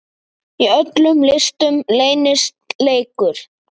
Í öllum listum leynist leikur.